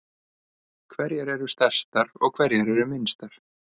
Hverjar eru stærstar og hverjar eru minnstar?